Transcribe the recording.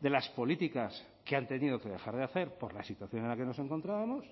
de las políticas que han tenido que dejar de hacer por la situación en la que nos encontrábamos